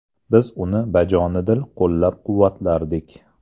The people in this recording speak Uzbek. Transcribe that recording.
Biz uni bajonidil qo‘llab-quvvatlardik.